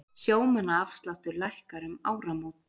Sjómannaafsláttur lækkar um áramót